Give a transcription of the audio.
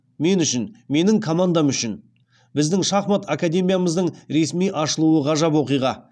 мен үшін менің командам үшін біздің шахмат академиямыздың ресми ашылуы ғажап оқиға